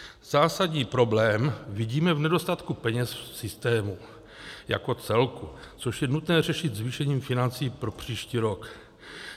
Zásadní problém vidíme v nedostatku peněz v systému jako celku, což je nutné řešit zvýšením financí pro příští rok.